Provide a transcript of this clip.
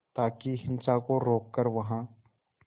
ताकि हिंसा को रोक कर वहां